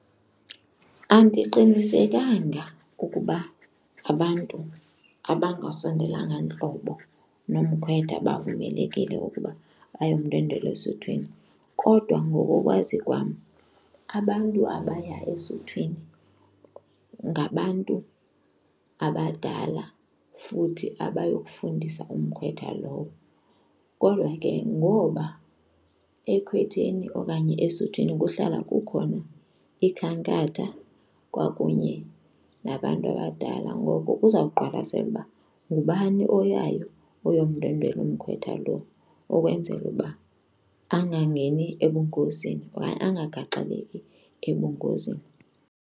Andiqinisekanga ukuba abantu abangasondelanga ntlobo nomkhwetha bavumelekile ukuba bayomndwendwela esuthwini kodwa ngokokwazi kwam, abantu abaya esuthwini ngabantu abadala futhi abayokufundisa umkhwetha lowo. Kodwa ke ngoba ekhwetheni okanye esuthwini kuhlala kukhona ikhankatha kwakunye nabantu abadala, ngoko kuzawuqwalaselwa uba ngubani oyayo oyomndwendwela umkhwetha lo ukwenzela uba angangeni ebungozini okanye angagaxeleki ebungozini.